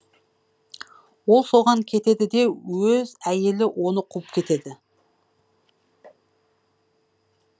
ол соған кетеді де өз әйелі оны қуып кетеді